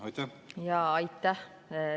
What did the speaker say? Aitäh!